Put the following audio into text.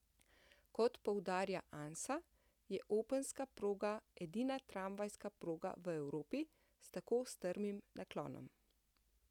Kot poudarja Ansa, je Openska proga edina tramvajska proga v Evropi s tako strmim naklonom.